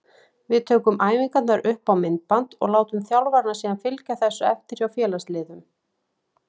Við tökum æfingarnar upp á myndband og látum þjálfarana síðan fylgja þessu eftir hjá félagsliðum.